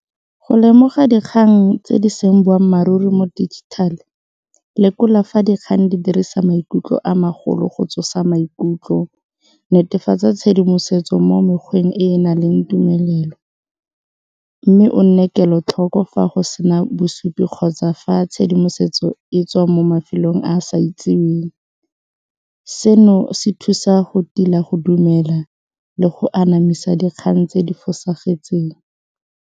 Go lemoga dikgang tse di seng boammaaruri mo dijithale lekola fa dikgang di dirisa maikutlo a magolo go tsosa maikutlo, netefatsa tshedimosetso mo mekgweng e na leng tumelelo mme o nne kelotlhoko fa go sena bosupi kgotsa fa tshedimosetso e tswa mo mafelong a a sa itseweng, seno se thusa go tila go dumela le go anamisa dikgang tse di fosagetseng.